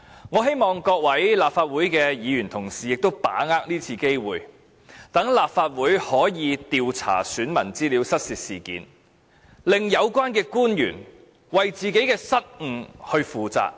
我希望各位立法會議員同事把握今次機會，令立法會可以調查選民資料失竊事件，使有關官員為自己失誤負責。